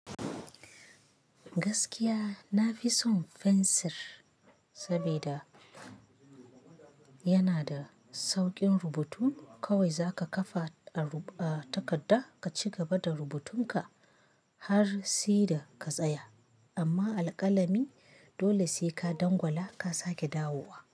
Gaskiya na fi son fensir, saboda yana da sauƙin rubutu. Kawai zaka kafa a takadda ka cigaba da rubutun ka har si da ka tsaya, amma alƙalami dole sai ka dangwala ka sake dawowa.